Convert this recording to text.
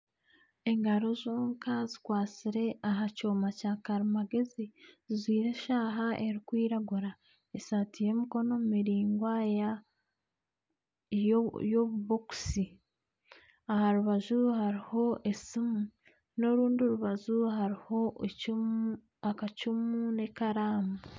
Engaro zonka zikwatsire aha kyoma kyakarimagyezi zijwire eshaaha erikwiragura, esaati y'emikono miraingwa y'obubokisi aha rubaju hariho esimi n'orundi rubaju hariho akacumu n'ekaraamu